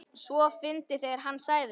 . svo fyndið þegar HANN sagði það!